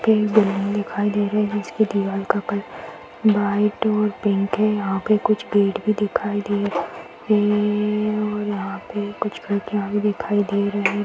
यहॉँ building दिखाई दे रहे है और उसकी दीवार का कलर व्हाइट और पिंक है। यहॉँ पर कुछ पेड़ भी दिखाई दे रहे हैं। यहॉँ पर कुछ दिखाई दे रहे हैं|